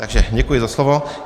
Takže děkuji za slovo.